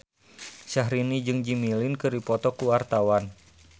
Syahrini jeung Jimmy Lin keur dipoto ku wartawan